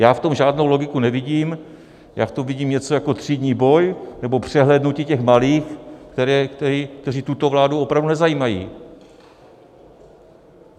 Já v tom žádnou logiku nevidím, já v tom vidím něco jako třídní boj nebo přehlédnutí těch malých, kteří tuto vládu opravdu nezajímají.